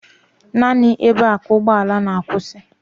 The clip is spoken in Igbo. Naanị ebe a ka ụgbọala na-akwụsị